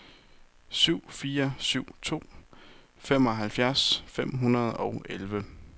syv fire syv to femoghalvfjerds fem hundrede og elleve